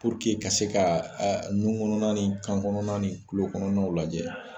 ka se ka nunkɔnɔna ni kankɔnɔna nin tulokɔnɔnaw lajɛ